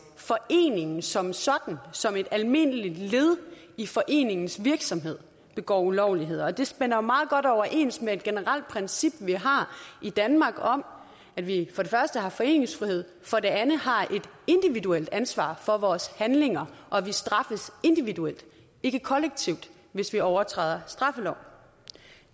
foreningen som sådan som et almindeligt led i foreningens virksomhed begår ulovligheder og det stemmer jo meget godt overens med et generelt princip vi har i danmark om at vi for det første har foreningsfrihed for det andet har et individuelt ansvar for vores handlinger og at vi straffes individuelt ikke kollektivt hvis vi overtræder straffeloven